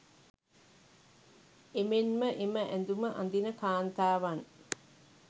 එමෙන්ම එම ඇඳුම අදින කාන්තාවන්